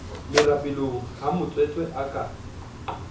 merapelong ha motswetse a ka